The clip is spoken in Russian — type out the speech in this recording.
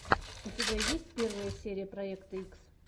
у тебя есть первая серия проекта икс